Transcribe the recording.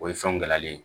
O ye fɛnw gala ye